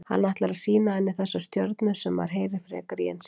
Hann ætlar að sýna henni þessar stjörnur sem maður heyrir frekar í en sér.